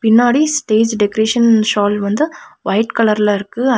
பின்னாடி stage decoration shawl வந்து white கலர்ல இருக்கு அத்--